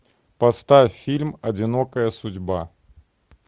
поставь фильм одинокая судьба